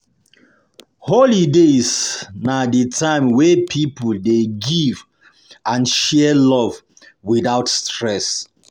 Holidays na the time wey people dey give and share love without stress.